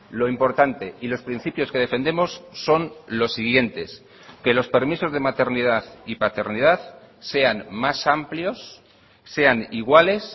lo importante y los principios que defendemos son los siguientes que los permisos de maternidad y paternidad sean más amplios sean iguales